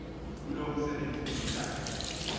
kulowo msebenzi iminyaka